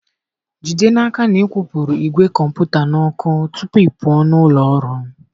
Jide n'aka na ị kwụpụrụ ìgwè kọmputa n'ọkụ tupu ị pụọ na ụlọ ọrụ.